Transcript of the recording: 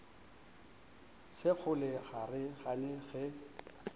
sekgole ga re gane ge